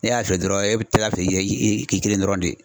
Ne y'a fiyɛ dɔrɔn e bi kila k'i k'i kelen dɔrɔn de